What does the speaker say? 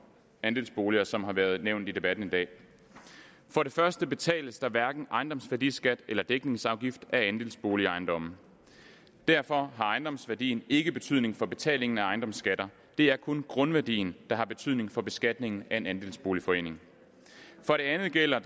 andelsboliger som har været nævnt i debatten i dag for det første betales der hverken ejendomsværdiskat eller dækningsafgift af andelsboligejendomme derfor har ejendomsværdien ikke betydning for betalingen af ejendomsskatter det er kun grundværdien der har betydning for beskatningen af en andelsboligforening for det andet gælder